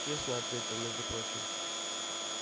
честно ответил между прочим